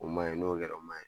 O ma ɲi n'o kɛra o ma ɲi